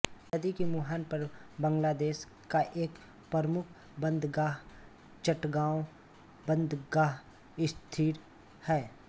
नदी के मुहाने पर बांग्लादेश का एक प्रमुख बंदरगाह चटगाँव बंदरगाह स्थित है